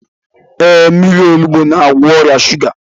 Ee, mmírí onugbu na-agwọ ọrịa shuga